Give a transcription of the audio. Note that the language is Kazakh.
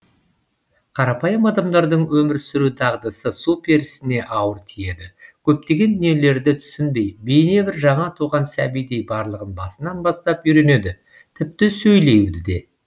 қарапайым адамдардың өмір сүру дағдысы су перісіне ауыр тиеді көптеген дүниелерді түсінбей бейне бір жаңа туған сәбидей барлығын басынан бастап үйренеді тіпті сөйлеуді де